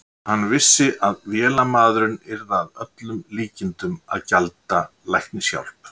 Hann vissi, að vélamaðurinn yrði að öllum líkindum að gjalda læknishjálp